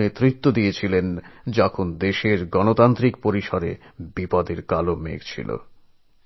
নেতৃত্ব দান করেন যখন কিনা দেশের গণতন্ত্র এক সঙ্কটাপন্ন অবস্থায় ছিল